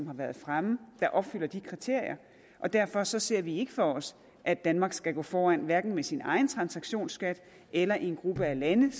har været fremme opfylder de kriterier og derfor ser vi ikke for os at danmark skal gå foran hverken med sin egen transaktionsskat eller i en gruppe lande